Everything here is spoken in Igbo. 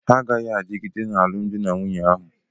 Ha agaghị adịgide n'alụmdi na nwunye ahụ.